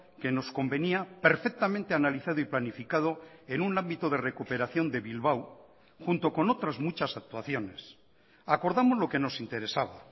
que nos convenía perfectamente analizado y planificado en un ámbito de recuperación de bilbao junto con otras muchas actuaciones acordamos lo que nos interesaba